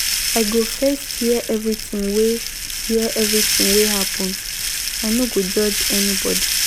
I go first hear everytin wey happen, I no go judge anybodi.